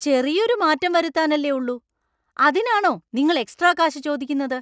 ചെറിയൊരു മാറ്റം വരുത്താനല്ലേ ഉള്ളൂ; അതിനാണോ നിങ്ങൾ എക്സ്ട്രാ കാശ് ചോദിക്കുന്നത്?